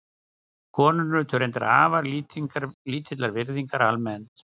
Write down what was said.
Konur nutu reyndar afar lítillar virðingar almennt.